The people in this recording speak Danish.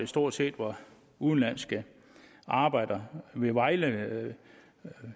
stort set var udenlandske arbejdere ved vejle